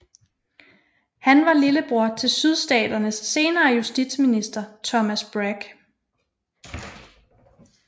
Han var lillebror til Sydstaternes senere justitsminister Thomas Bragg